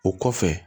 O kɔfɛ